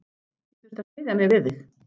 Ég þurfti að styðja mig við þig.